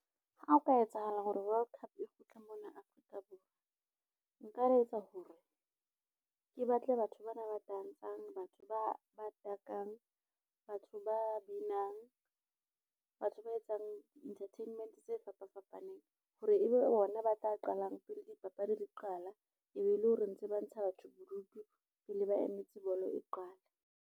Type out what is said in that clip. Ha ho ka etsahala hore World Cup e kgutle mona Afrika Borwa, nka etsa ho re ke batle batho bana ba tantshang, batho ba takang, batho ba binang, batho ba etsang entertainment tse fapafapaneng. Hore ebe bona ba tla qalang pele dipapadi di qala e be e le hore ntse ba ntsha batho bodutu pele ba emetse bolo e qale.